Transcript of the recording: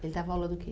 Ele dava aula do quê?